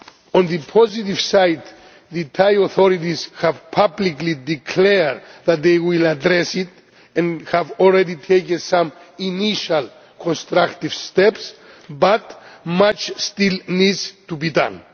On the positive side, the Thai authorities have publicly declared that they will address it, and have already taken some initial constructive steps, but much still needs to be done.